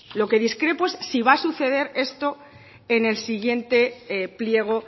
lo que discrepo es si va a suceder esto